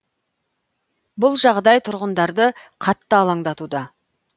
бұл жағдай тұрғындарды қатты алаңдатуда